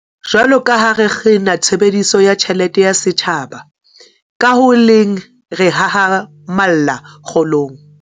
Jwaloka ha re kgina tshebediso ya tjhelete ya setjhaba, ka ho le leng re hahamalla kgolong